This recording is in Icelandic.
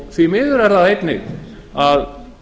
því miður er það einnig að